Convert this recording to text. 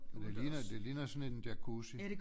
Ja det ligner det ligner sådan en jacuzzi